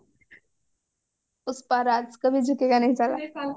ପୁଷ୍ପରାଜ୍ କଭି ଝୁକେଗା ନହିଁ ସାଲା